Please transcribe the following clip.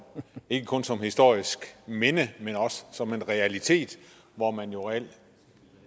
ikke kun som historisk minde men også som en realitet hvor man jo reelt